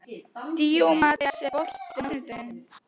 Díómedes, er bolti á sunnudaginn?